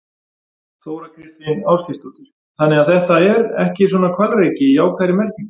Þóra Kristín Ásgeirsdóttir: Þannig að þetta er ekki svona hvalreki í jákvæðri merkingu?